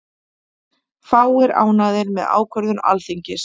Fáir ánægðir með ákvörðun Alþingis